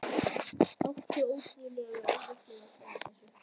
Átti ótrúlega erfitt með að svara þessu.